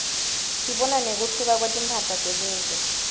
sibona nekuhluka kwetimphahla tebuve